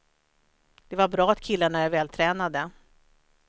Det var bra att killarna är vältränade.